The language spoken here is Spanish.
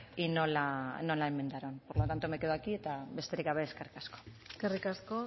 y no la enmendaron por lo tanto me quedo aquí eta besterik gabe eskerrik asko eskerrik asko